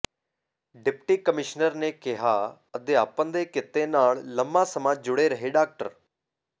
deputy commissioner ਨੇ ਕਿਹਾ ਕਿ ਅਧਿਆਪਨ ਦੇ ਕਿੱਤੇ ਨਾਲ ਲੰਬਾ ਸਮਾਂ ਜੁੜੇ ਰਹੇ ਡਾ